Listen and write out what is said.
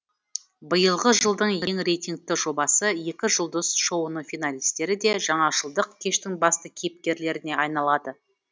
биылғы жылдың ең рейтингті жобасы екі жұлдыз шоуының финалистері де жаңажылдық кештің басты кейіпкерлеріне айналады